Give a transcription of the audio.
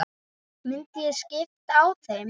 Myndi ég skipta á þeim?